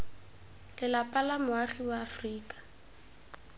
lelapa la moagi wa aforika